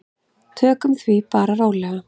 Tökum því bara rólega.